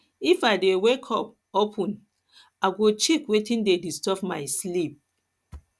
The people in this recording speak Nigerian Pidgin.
if i dey wake up of ten wake up of ten i go check wetin dey disturb my sleep